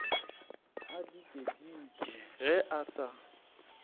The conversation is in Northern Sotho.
a dikedike ge a sa